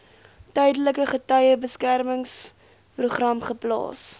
tydelike getuiebeskermingsprogram geplaas